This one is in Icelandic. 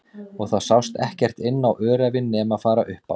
Og það sást ekkert inn á öræfin nema fara upp á